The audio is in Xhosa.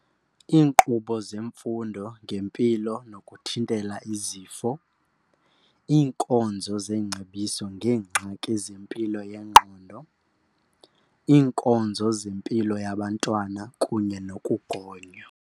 Iinkqubo zemfundo ngempilo nokuthintela izifo. Iinkonzo zengcebiso ngeengxaki zempilo yengqondo. Iinkonzo zempilo yabantwana kunye nokugonywa.